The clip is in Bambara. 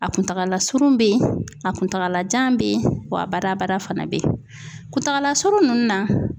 A kuntagala surun bɛ yen, a kuntagalajan bɛ yen wa a badabada fana be yen . Kuntagala surun nInnu na